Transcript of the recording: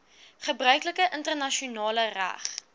gebruiklike internasionale reg